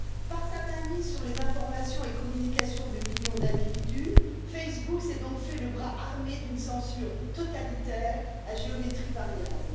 Par sa mainmise sur les informations et communications de millions d'individus, Facebook s'est donc fait le bras armé d'une censure totalitaire à géométrie variable.